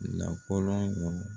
Na kɔlɔn